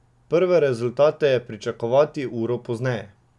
Prve rezultate je pričakovati uro pozneje.